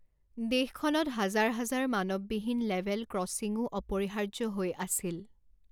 দেশখনত হাজাৰ হাজাৰ মানৱবিহীন লেভেল ক্ৰছিংও অপৰিহাৰ্য হৈ আছিল।